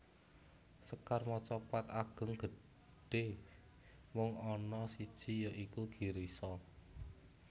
Sekar macapat Ageng gedhé mung ana siji ya iku Girisa